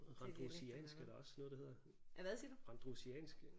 Randrusiansk er der også noget der hedder randrusiansk